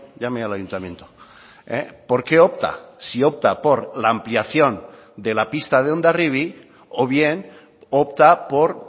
llame al ayuntamiento por qué opta si opta por la ampliación de la pista de hondarribia o bien opta por